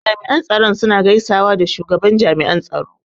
Jami'an tsaro suna gaisawa da shugaban jami'an tsaro.